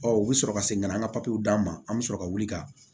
Ɔ u bɛ sɔrɔ ka segin ka na an ka papiyew d'a ma an bɛ sɔrɔ ka wuli ka